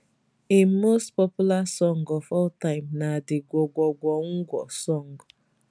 im most popular song of all time na di gwo gwo gwo ngwo song